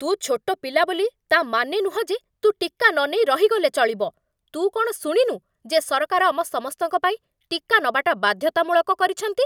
ତୁ ଛୋଟ ପିଲା ବୋଲି, ତା' ମାନେ ନୁହଁ ଯେ ତୁ ଟିକା ନନେଇ ରହିଗଲେ ଚଳିବ । ତୁ କ'ଣ ଶୁଣିନୁ ଯେ ସରକାର ଆମ ସମସ୍ତଙ୍କ ପାଇଁ ଟିକା ନବାଟା ବାଧ୍ୟତାମୂଳକ କରିଛନ୍ତି?